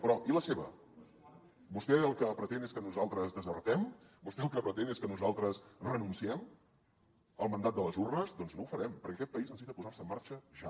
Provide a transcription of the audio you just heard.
però i la seva vostè el que pretén és que nosaltres desertem vostè el que pretén és que nosaltres renunciem al mandat de les urnes doncs no ho farem perquè aquest país necessita posar se en marxa ja